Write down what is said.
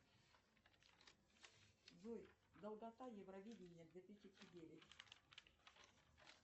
джой долгота евровидения две тысячи девять